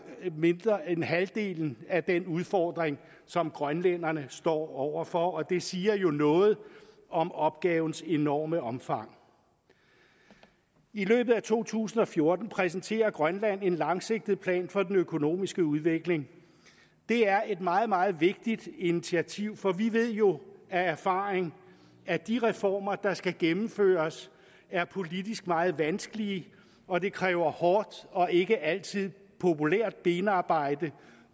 mindre end halvdelen af den udfordring som grønlænderne står over for og det siger jo noget om opgavens enorme omfang i løbet af to tusind og fjorten præsenterer grønland en langsigtet plan for den økonomiske udvikling det er et meget meget vigtigt initiativ for vi ved jo af erfaring at de reformer der skal gennemføres er politisk meget vanskelige og det kræver hårdt og ikke altid populært benarbejde